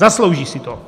Zaslouží si to.